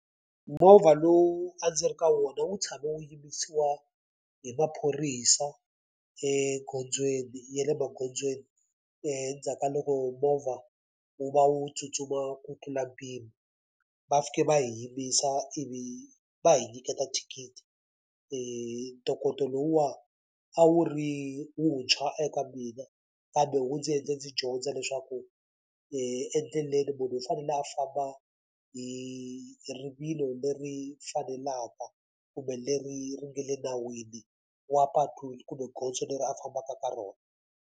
Movha lowu a ndzi ri ka wona wu tshama wu yimisiwa hi maphorisa egondzweni ya le magondzweni endzhaku ka loko movha wu va wu tsutsuma ku tlula mpimo. Va fike va hi yimbisa ivi va hi nyiketa thikithi. Ntokoto lowuwani a wu ri wuntshwa eka mina kambe wu ndzi endle ndzi dyondza leswaku endleleni munhu i fanele a famba hi rivilo leri faneleke kumbe leri ri nga le nawini wa patu kumbe gondzo leri a fambaka ka rona.